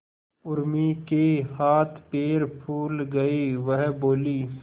उर्मी के हाथ पैर फूल गए वह बोली